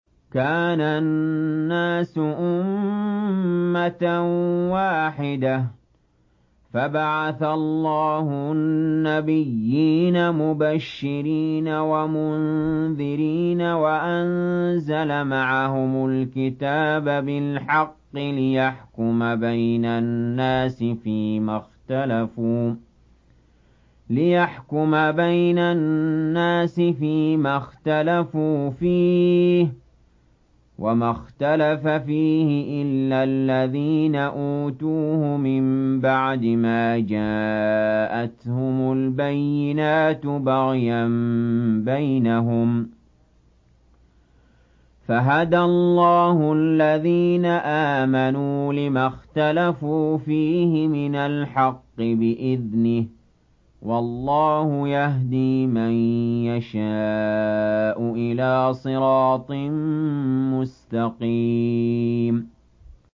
كَانَ النَّاسُ أُمَّةً وَاحِدَةً فَبَعَثَ اللَّهُ النَّبِيِّينَ مُبَشِّرِينَ وَمُنذِرِينَ وَأَنزَلَ مَعَهُمُ الْكِتَابَ بِالْحَقِّ لِيَحْكُمَ بَيْنَ النَّاسِ فِيمَا اخْتَلَفُوا فِيهِ ۚ وَمَا اخْتَلَفَ فِيهِ إِلَّا الَّذِينَ أُوتُوهُ مِن بَعْدِ مَا جَاءَتْهُمُ الْبَيِّنَاتُ بَغْيًا بَيْنَهُمْ ۖ فَهَدَى اللَّهُ الَّذِينَ آمَنُوا لِمَا اخْتَلَفُوا فِيهِ مِنَ الْحَقِّ بِإِذْنِهِ ۗ وَاللَّهُ يَهْدِي مَن يَشَاءُ إِلَىٰ صِرَاطٍ مُّسْتَقِيمٍ